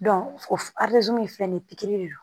o ye fɛn ye pikiri de don